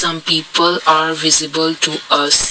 some people are visible to us.